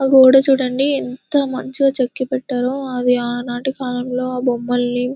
ఆ గోడ చూడండి ఎంత మంచిగా చెక్కుపెట్టారు అది ఆనాటి కాలంలో బొమ్మల్ని --